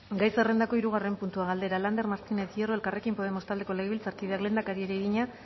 gai zerrendako hirugarren puntua galdera lander martínez hierro elkarrekin podemos taldeko legebiltzarkideak lehendakariari egina